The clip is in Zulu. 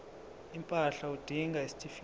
impahla udinga isitifikedi